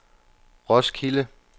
Roskilde